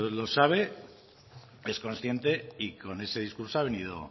lo sabe es consciente y con ese discurso